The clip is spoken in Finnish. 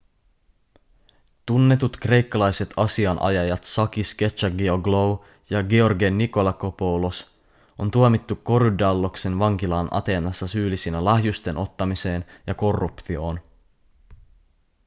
tunnetut kreikkalaiset asianajajat sakis kechagioglou ja george nikolakopoulos on tuomittu korydalloksen vankilaan ateenassa syyllisinä lahjusten ottamiseen ja korruptioon